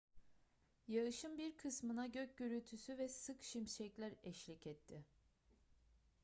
yağışın bir kısmına gök gürültüsü ve sık şimşekler eşlik etti